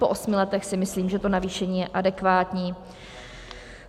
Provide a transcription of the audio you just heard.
Po osmi letech si myslím, že to navýšení je adekvátní.